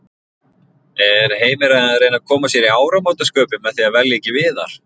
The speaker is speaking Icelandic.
Er Heimir að reyna að koma sér í áramótaskaupið með því að velja ekki Viðar?